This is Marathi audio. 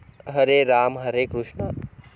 हरे राम हरे कृष्णा